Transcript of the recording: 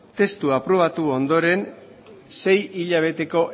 testua aprobatu ondoren sei hilabeteko